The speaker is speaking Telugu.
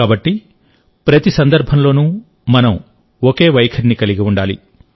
కాబట్టిప్రతి సందర్భంలోనూ మనం ఒకే వైఖరిని కలిగి ఉండాలి